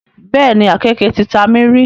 Bẹ́ẹ̀ni, àkéeke ti ta mí rí.